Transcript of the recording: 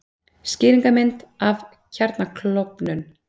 Skýringarmynd af kjarnaklofnun.